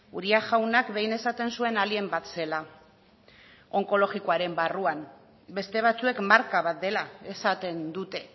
uria jaunak behin esaten zuen alien bat zela onkologikoaren barruan beste batzuek marka bat dela esaten dute